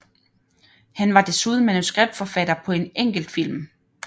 Han var desuden manuskriptforfatter på en enkelt film